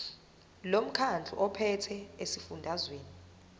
lomkhandlu ophethe esifundazweni